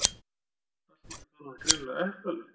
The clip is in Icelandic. Allt í einu fann hann greinilega eplalykt.